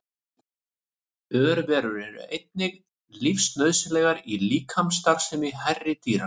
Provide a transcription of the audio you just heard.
Örverur eru einnig lífsnauðsynlegar í líkamsstarfsemi hærri dýra.